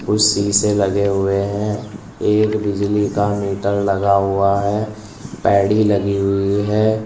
कुछ शीशे लगे हुए हैं एक बिजली का मीटर लगा हुआ है पैड़ी लगी हुई है।